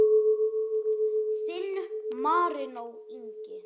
Þinn, Marinó Ingi.